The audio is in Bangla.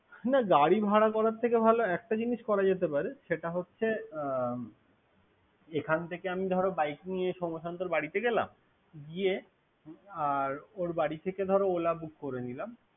হুম গাড়ি ভাড়া করার থেকে ভালো একটা জিনিস করা যেতে পারে। সেটা হচ্ছে । এখান থেকে আমি ধর বাইক নিয়ে সোম্যশান্তর বারিতে গেলাম। গিয়ে আর ওর বারিতে ধর ওলা বুক করে নিলাম।